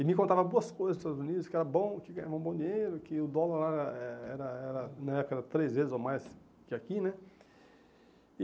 E me contava boas coisas dos Estados Unidos, que era bom, que ganhava um bom dinheiro, que o dólar lá era era era, na época, era três vezes ou mais que aqui, né? E